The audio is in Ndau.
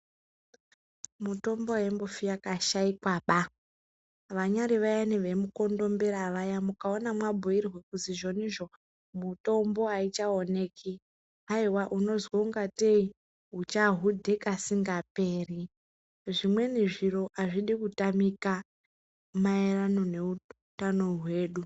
Mutombo haimbofi yakashaikwaba. Vanyaari vayani vemukondombera vaya mukaona mabhuirwe kuzi izvonizvo mitombo haichaoneki, haiwa unozwa ungatei uchahudhe kasingaperi. Zvimweni zviro hazvidi kutamika maererano neutano hwedu.